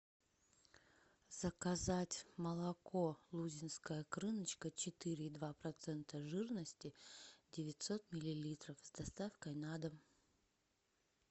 заказать молоко лузинская крыночка четыре и два процента жирности девятьсот миллилитров с доставкой на дом